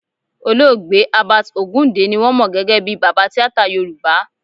Olóògbé Herbert Ogunde ni wọ́n mọ gẹ́gẹ́ bí baba tíátà Yorùbá